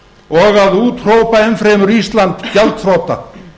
og að úthrópa enn fremur ísland gjaldþrota